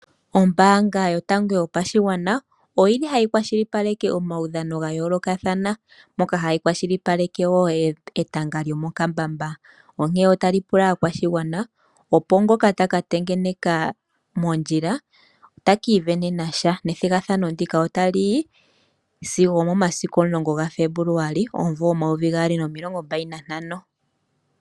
Ombanga yotango yopashigwana oyili hayi kwashilipaleke omaudhano gayolokathana moka hayi kwashilipaleke woo etanga ndjomo kambamba onke otali pula aakwashigwana opo ngoka takategeneka mondjila ote ki venenasha methigathano ndika otali zimo omomasiku 10 Februali 2025.